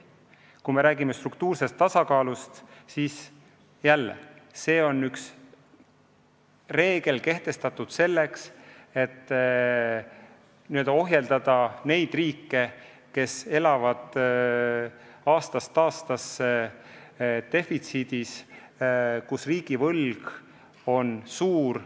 Kui me räägime struktuursest tasakaalust, siis üks reegel on kehtestatud selleks, et ohjeldada riike, kes elavad aastast aastasse defitsiidis ja kelle riigivõlg on suur.